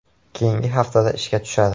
Keyingi haftada ishga tushadi.